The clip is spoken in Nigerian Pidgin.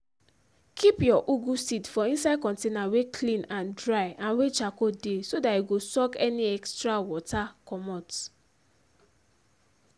keep your ugu seed for inside container wey clean and dry and wey charcoal dey so that e go suck any extra water comot.